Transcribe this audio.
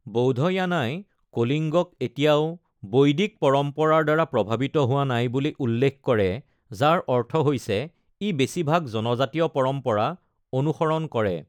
বৌধয়ানাই কলিঙ্গক এতিয়াও বৈদিক পৰম্পৰাৰ দ্বাৰা প্ৰভাৱিত হোৱা নাই বুলি উল্লেখ কৰে, যাৰ অৰ্থ হৈছে ই বেছিভাগ জনজাতীয় পৰম্পৰা অনুসৰণ কৰে।